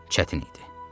Çətin idi.